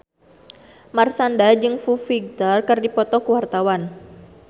Marshanda jeung Foo Fighter keur dipoto ku wartawan